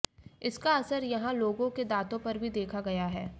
इसका असर यहां लोगों के दांतों पर भी देखा गया है